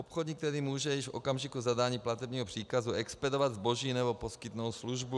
Obchodník tedy může již v okamžiku zadání platebního příkazu expedovat zboží nebo poskytnout službu.